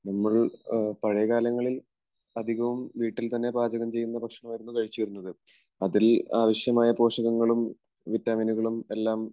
നമ്മൾ പഴയകാലങ്ങളിൽ അധികവും വീട്ടിൽ തന്നെ പാചകം ചെയ്യുന്ന ഭക്ഷണമായിരുന്നു കഴിച്ചിരുന്നത്. അതിൽ ആവശ്യമായ പോഷകങ്ങളും വിറ്റാമിനുകളും എല്ലാം